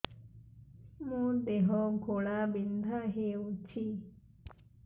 ମୋ ଦେହ ଘୋଳାବିନ୍ଧା ହେଉଛି